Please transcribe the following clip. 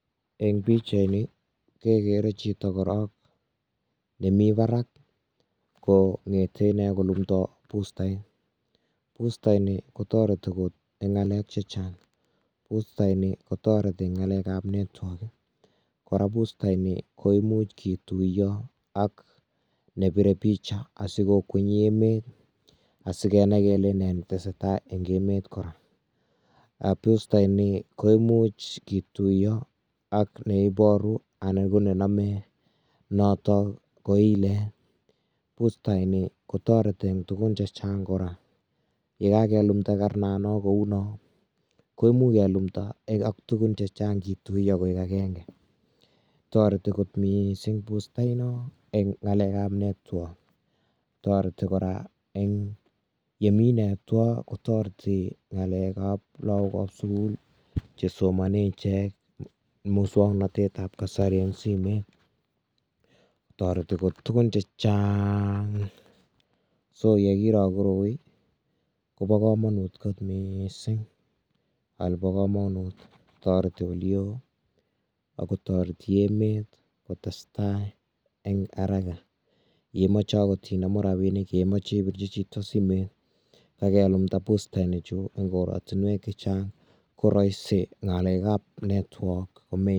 Eng pichaini kekere chito korok nemi barak kongete ine kolumdoi bustait, bustaini kotoreti kot eng ngalek che chang, bustaini kotoreti eng ngalekab nertwork ii, kora bustaini koimuch kituiyo ak nebire picha asi kokwenyi emet asi kenai kele nee ne tesetai eng emet kora, um bustaini koimuch kituiyo ak neiboru anan ko nenome noto ko ilet, bustaini kotoreti eng tugun che chang kora, ye kakelumda karnano kou no, koimuch kelumda tugun chechang kituiyo koek akenge, toreti kot mising bustaino eng ngalekab network, toreti kora eng ye mi network kotoreti ngalekab lagokab sukul chesomone ichek musoknotetab kasari eng simet, toreti kot tugun che chaang. So ye kiro koroi, kobo kamanut kot mising, kole bo kamanut, toreti oli oo, ako toreti emet kotestai eng haraka, yeimoche akot inemu rabiinik, ye imoche ibirchi chito simet, kakelumda bustaini eng korotinwek che chang ko rahisi ngalekab network.